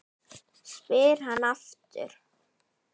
spyr hann aftur.